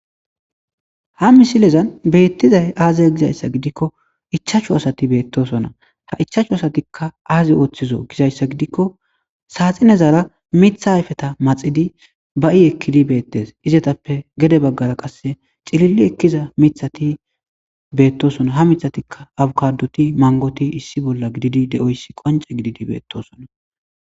ha misilezan beettizay aazeya gizayssa gidikko ichaachu asati beettosona ha ichachchu asatikka aaze ooththizo gizayssa gidikko saaxinezaara mitha hayfeta maxidi ba i ekkidi beettes izetappe gede baggara qasse cililli ekkiza mithati beettosona ha mithatikka awukaduti mangoti issi bolla gididi de7oyssi qonce gididi beettosona